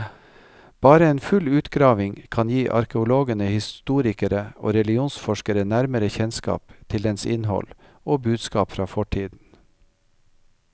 Bare en full utgravning kan gi arkeologene, historikere og religionsforskere nærmere kjennskap til dens innhold og budskap fra fortiden.